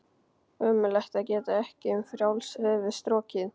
Ömurlegt að geta ekki um frjálst höfuð strokið.